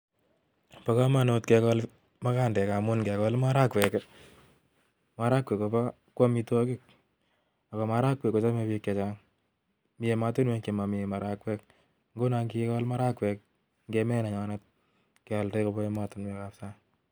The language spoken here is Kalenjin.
Bo komonut kegol maraagwek, ngamun ingegol maraagwek I ko amitwogiik, ako maragwek kochome bik chechang, tindo matundek chekoron maaragwek, ak ingegol maaragwek kimuche kealda kobaa emotinwek alak